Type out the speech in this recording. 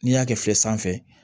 N'i y'a kɛ fiyɛ sanfɛ